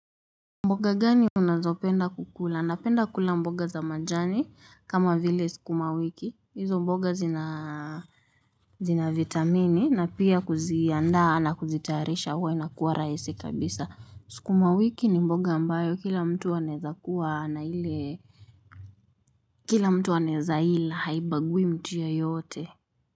Mboga gani unazopenda kukula? Napenda kula mboga za majani kama vile sukuma wiki. Hizo mboga zina vitamini na pia kuzianda na kuzitayarisha huwa inakuwa rahisi kabisa. Sukuma wiki ni mboga ambayo kila mtu anaweza kuwa na ile kila mtu anaeza ila haibagui mtu yeyote.